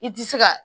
I ti se ka